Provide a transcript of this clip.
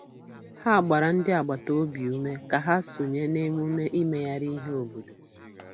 Ha gbara ndị agbata obi ume ka ha sonye na emume imegharị ihe obodo.